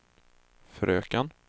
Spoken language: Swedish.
fröken